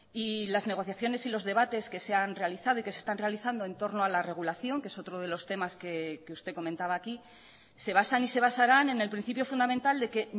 y las negociaciones y los debates que se han realizado y que se están realizando entorno a la regulación que es otro de los temas que usted comentaba aquí se basan y se basarán en el principio fundamental de que